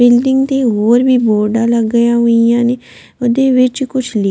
building ਦੇ ਹੋਰ ਵੀ ਬੋਰਡਾਂ ਲੱਗ ਗਿਆ ਹੋਈਆਂ ਨੇ ਉਹਦੇ ਵਿੱਚ ਕੁਝ ਲਿ--